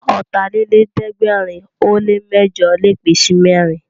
Ọ̀tàlélẹ̀ẹ́dẹ́gbẹ̀rin ó lè mẹ́jọ̀ lè pín sí mẹ́rin